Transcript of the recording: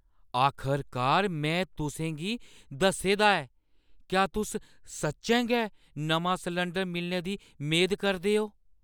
आखरकार मैं तुसें गी दस्से दा ऐ, क्या तुस सच्चैं गै नमां सलंडर मिलने दी मेद करदे ओ?